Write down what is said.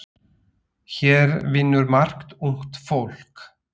Hér vinnur margt ungt fólk.